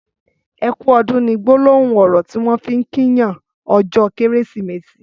''Ẹkù ọ̀dùn'' ni gbòlòhùn ọrọ tiwọn fi n kí yàn ọjọ Kẹrẹsimẹsi